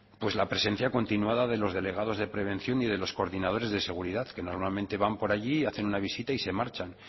la presencia continuada de los delegados de prevención y de los coordinadores de seguridad que normalmente van por allí hacen una visita y se marchan